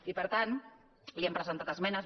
i per tant hi hem presentat esmenes